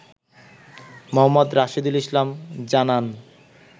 মো. রাশেদুল ইসলাম জানান